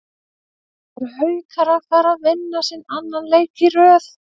ERU HAUKAR AÐ FARA AÐ VINNA SINN ANNAN LEIK Í RÖÐ???